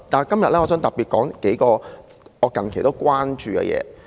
今天我想特別談論數項我近期關注的事情。